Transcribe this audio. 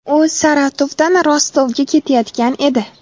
U Saratovdan Rostovga ketayotgan edi.